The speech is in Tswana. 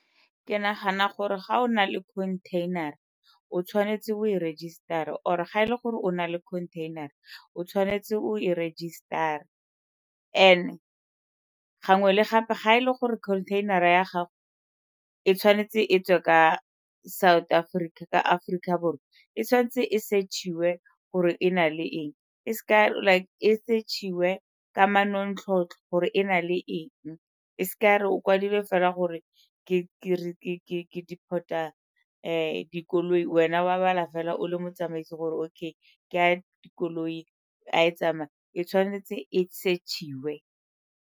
Ke nagana gore ga o na le container-ra o tshwanetse o e rejisetara or-e ga e le gore o na le container-ra o tshwanetse o e rejisetara. And-e gangwe le gape ga e le gore container-ra ya gago e tshwanetse e tswe ka South Africa ka Aforika Borwa, e tshwanetse e search-iwe gore e na le eng, e seka like e search-iwe ka manontlhotlho gore e na le eng e seke ya re o kwadilwe fela gore ke deport-a dikoloi wena wa bala fela o le motsamaisi gore okay ke a dikoloi a e tsamaya e tshwanetse e search-iwe.